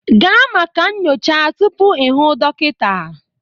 Gaa maka nyocha tupu ị hụ dọkịta